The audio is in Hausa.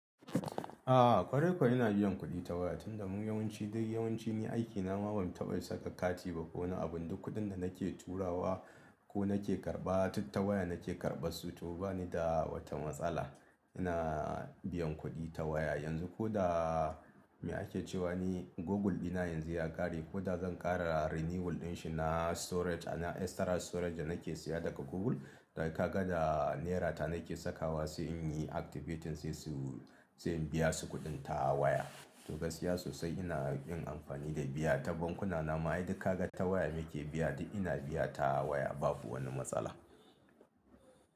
A'a ƙwarai kuwa ina biyan kuɗi ta waya, tunda mu yawanci dai yawanci ni aikina ma ban taɓa saka kati ba ko wani abu, duk kuɗin da nake turawa ko nake karɓa duk ta waya nake karɓan su to bani da wata matsala. Ina biyan kuɗi ta waya yanzu koda me ake cewa ne Google dina yanzu ya ƙare ko da zan ƙara renewal dinshi na storage, extra storage da nake siya daga Google, dai kaga da naira ta nake sakawa sai in yi activating sai su, sai in biya su kuɗin ta waya. To gaskiya sosai ina yin amfani da biya ta bankuna nama, ai duk kaga ta waya muke biya dai ina biya ta waya babu wani matsala.